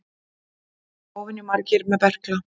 Óvenju margir með berkla